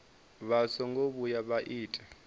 vha songo vhuya vha ita